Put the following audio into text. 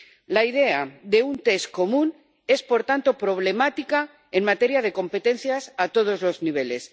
La idea de un test común es, por tanto, problemática en materia de competencias a todos los niveles.